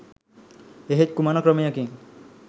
එහෙත් කුමන ක්‍රමයකින්